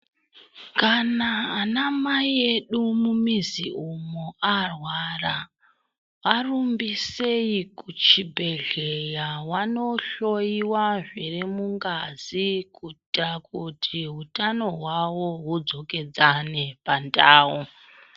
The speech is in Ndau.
Kana ana Mai edu mumizi umu arwara arumbise kuchibhedhleya vanohloyiwa zviri mungazi kuita kuti hutano hwavo hudzokedzane pandau.